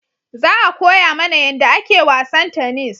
Za a koya mana yanda ake wasan tanis